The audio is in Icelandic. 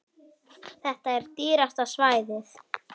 Þetta er dýrasta svæðið.